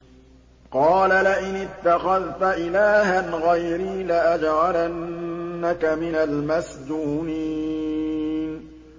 قَالَ لَئِنِ اتَّخَذْتَ إِلَٰهًا غَيْرِي لَأَجْعَلَنَّكَ مِنَ الْمَسْجُونِينَ